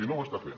i no ho està fent